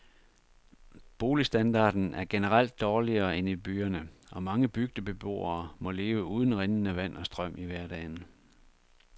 Boligstandarden er generelt dårligere end i byerne, og mange bygdebeboere må leve uden rindende vand og strøm i hverdagen.